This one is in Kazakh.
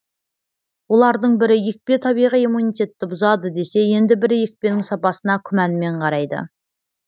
олардың бірі екпе табиғи иммунитетті бұзады десе енді бірі екпенің сапасына күмәнмен қарайды